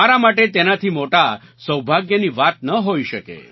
મારા માટે તેનાથી મોટા સૌભાગ્યની વાત ન હોઈ શકે